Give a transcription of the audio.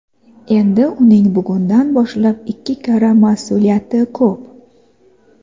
Endi uning bugundan boshlab ikki karra mas’uliyati ko‘p.